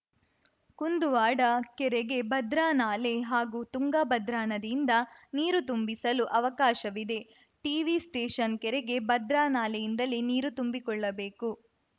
ಕುಂದುವಾಡ ಕೆರೆಗೆ ಭದ್ರಾ ನಾಲೆ ಹಾಗೂ ತುಂಗಭದ್ರಾ ನದಿಯಿಂದ ನೀರು ತುಂಬಿಸಲು ಅವಕಾಶವಿದೆ ಟಿವಿ ಸ್ಟೇಷನ್‌ ಕೆರೆಗೆ ಭದ್ರಾ ನಾಲೆಯಿಂದಲೇ ನೀರು ತುಂಬಿಕೊಳ್ಳಬೇಕು